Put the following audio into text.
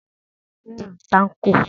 Ta ni ó fẹ́ran tákò?